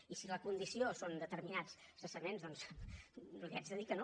i si la condició són determinats cessaments doncs li haig de dir que no